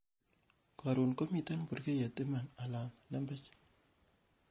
korun komiten burgeiyet iman ala lembech